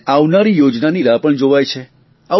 અને આવનારી યોજનાની રાહ પણ જોવાય છે